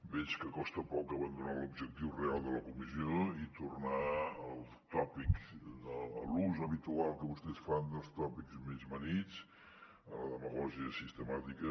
veig que costa poc abandonar l’objectiu real de la comissió i tornar als tòpics a l’ús habitual que vostès fan dels tòpics més gastats a la demagògia sistemàtica